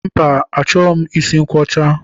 Mba, achọghị m isi nkwọcha